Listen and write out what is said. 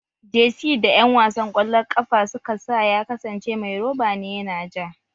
Jersi da ƴan wasan ƙwallon ƙafa suka sa ya kasance mai roba ne yana ja